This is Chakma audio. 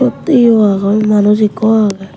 sut iyo agon manuj ekku age.